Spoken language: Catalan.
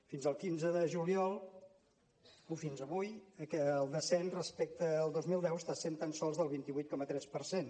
fins al quinze de juliol o fins avui el descens respecte al dos mil deu està sent tan sols del vint vuit coma tres per cent